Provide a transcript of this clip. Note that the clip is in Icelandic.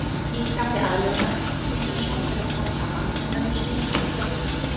Í krafti aðlögunar hnignar sjón þeirra smám saman en önnur skynfæri skerpast.